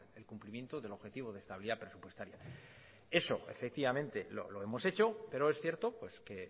el crecimiento del objetivo de nuestra estabilidad presupuestaria eso lo hemos hecho pero es cierto que